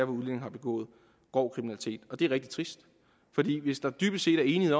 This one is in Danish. udlændinge har begået grov kriminalitet det er rigtig trist hvis der dybest set er enighed